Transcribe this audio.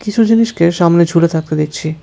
কিছু জিনিসকে সামনে ঝুলে থাকতে দেখছি।